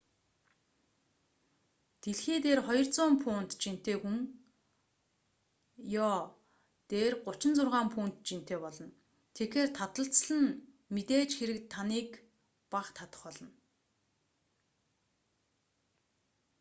дэлхий дээр 200 фунт 90кг жинтэй хүн йо дээр 36 фунт 16 кг жинтэй болно. тэгэхээр таталцал нь мэдээж хэрэг таныг бага татах болно